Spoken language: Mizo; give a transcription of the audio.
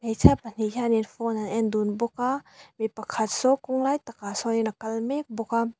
hmeichhia pahnih hianin phone an en dun bawk a mi pakhat saw kawng lai takah sawnin a kal mek bawk a.